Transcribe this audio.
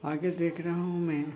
आगे देख रहा हूँ मै --